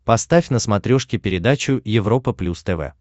поставь на смотрешке передачу европа плюс тв